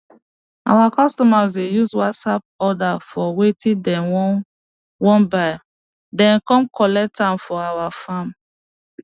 our customers dey use whatsapp order for wetin dem wan wan buy den come collect am for our farm